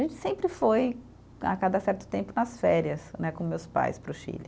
A gente sempre foi, a cada certo tempo, nas férias né, com meus pais para o Chile.